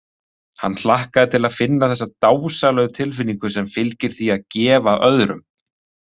Hann hlakkaði til að finna þessa dásamlegu tilfinnigu sem fylgir því að gefa öðrum.